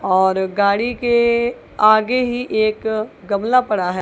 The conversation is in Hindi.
और गाड़ी के आगे ही एक गमला पड़ा है।